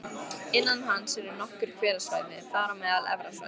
Innan hans eru nokkur hverasvæði, þar á meðal Efra svæðið